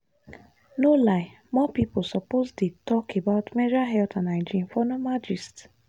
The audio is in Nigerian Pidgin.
no lie more people suppose dey talk about menstrual health and hygiene for normal gist.